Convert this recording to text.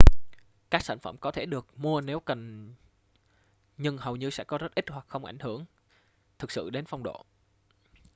các sản phẩm có thể được mua nếu cần nhưng hầu như sẽ có rất ít hoặc không ảnh hưởng thực sự đến phong độ